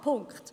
Punkt